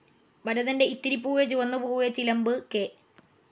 ഭരതൻ്റെ Ithiri Poove Chuvanna Poove, Chilambu, K.